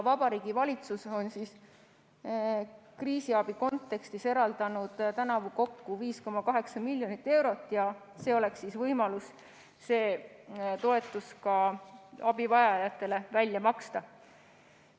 Vabariigi Valitsus on kriisiabi kontekstis eraldanud tänavu kokku 5,8 miljonit eurot ja oleks võimalus see toetus abivajajatele ka välja maksta.